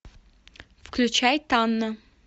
включай танна